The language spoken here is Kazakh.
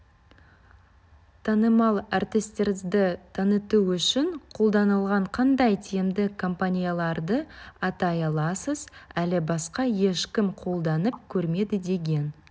танымал әртістерді таныту үшін қолданылған қандай тиімді компанияларды атай аласыз әлі басқа ешкім қолданып көрмеді деген